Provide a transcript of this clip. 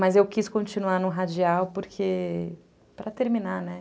Mas eu quis continuar no Radial, porque... Para terminar, né?